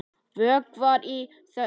Vökvar í þögn.